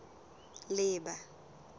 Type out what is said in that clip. leeba